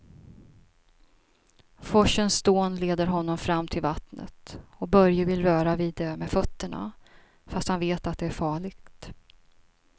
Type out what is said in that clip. Forsens dån leder honom fram till vattnet och Börje vill röra vid det med fötterna, fast han vet att det är farligt.